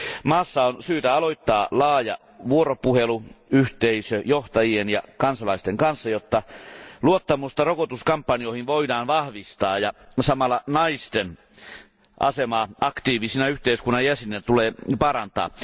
Maassa on syytä aloittaa laaja vuoropuhelu yhteisöjohtajien ja kansalaisten kanssa, jotta luottamusta rokotuskampanjoihin voidaan vahvistaa ja samalla naisten asemaa aktiivisina yhteiskunnan jäseninä tulee parantaa.